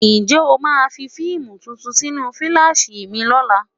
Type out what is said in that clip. Ǹjẹ́ o máa fi fíìmù tuntun sínú fúláàṣì mi lọ́la?